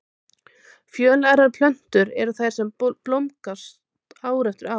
Fjölærar plöntur eru þær sem blómgast ár eftir ár.